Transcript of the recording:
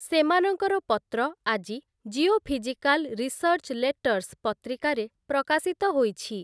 ସେମାନଙ୍କର ପତ୍ର ଆଜି 'ଜିଓଫିଜିକାଲ୍ ରିସର୍ଚ୍ଚ ଲେଟର୍ସ' ପତ୍ରିକାରେ ପ୍ରକାଶିତ ହୋଇଛି ।